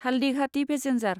Haldighati passenger